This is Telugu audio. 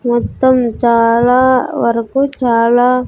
మొత్తం చాలా వరకు చాలా.